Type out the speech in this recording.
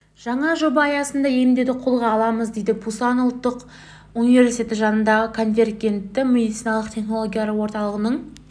жаңа жоба аясында емдеуді қолға аламыз дейді пусан ұлттық университеті жанындағы конвергентті медициналық технологиялар орталығының